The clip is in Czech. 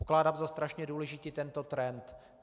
Pokládám za strašně důležitý tento trend.